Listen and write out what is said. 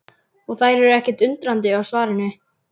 Og þær eru ekkert undrandi á svarinu.